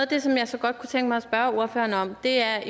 det som jeg godt kunne tænke mig at spørge ordføreren om er